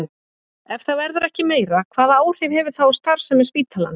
Ef það verður ekki meira, hvaða áhrif hefur það á starfsemi spítalans?